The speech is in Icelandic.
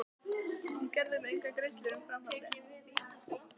Ég gerði mér engar grillur um framhaldið.